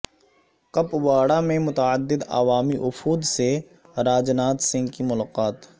کپواڑہ میں متعدد عوامی وفود سے راجناتھ سنگھ کی ملاقات